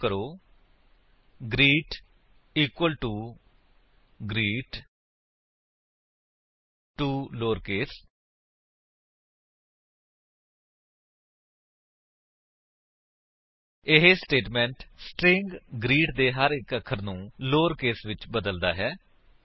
type ਕਰੋ greet equal to greet to lowercase 160 ਇਹ statement string greet ਦੇ ਹਰ ਇੱਕ ਅੱਖਰ ਨੂੰ ਲੋਅਰਕੇਸ ਵਿੱਚ ਬਦਲਦਾ ਹੈ